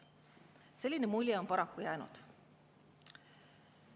Selline mulje on paraku jäänud.